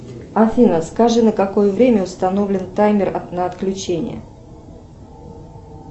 афина скажи на какое время установлен таймер на отключение